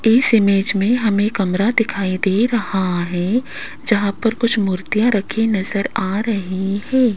इस इमेज में हमें कमरा दिखाई दे रहा है जहां पर कुछ मूर्तियां रखी नजर आ रही है।